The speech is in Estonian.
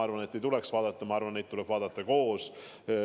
Ma arvan, et ei tuleks vaadata, neid tuleb vaadata koos.